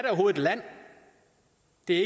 det